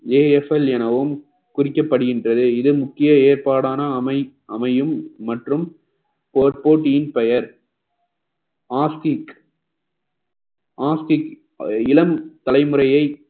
AFL எனவும் குறிக்கப்படுகின்றது இது முக்கிய ஏற்பாடான அமை~ அமையும் மற்றும் ~ போபோட்டியின் பெயர் ostick ostick இளம் தலைமுறையை